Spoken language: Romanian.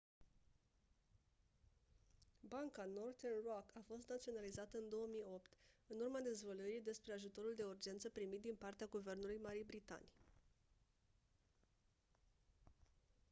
banca northern rock a fost naționalizată în 2008 în urma dezvăluirii despre ajutorul de urgență primit din partea guvernului marii britanii